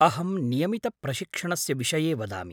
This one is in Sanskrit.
अहं नियमितप्रशिक्षणस्य विषये वदामि।